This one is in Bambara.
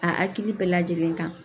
A hakili bɛɛ lajɛlen kan